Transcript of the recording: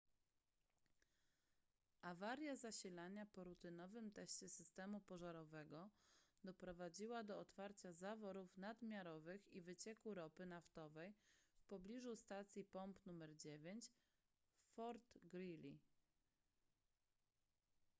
awaria zasilania po rutynowym teście systemu pożarowego doprowadziła do otwarcia zaworów nadmiarowych i wycieku ropy naftowej w pobliżu stacji pomp nr 9 w fort greely